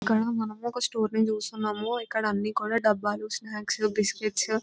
ఇక్కడ మనం ఒక స్టోర్ ని చూస్తున్నాము. ఇక్కడ అన్నీ కూడా డబ్బాలు స్నాక్స్ బిస్కెట్స్ --